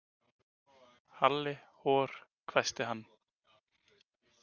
Halli hor hvæsti hann.